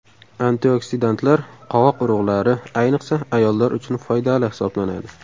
Antioksidantlar Qovoq urug‘lari, ayniqsa, ayollar uchun foydali hisoblanadi.